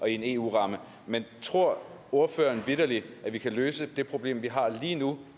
en eu ramme men tror ordføreren vitterlig at vi kan løse det problem vi har lige nu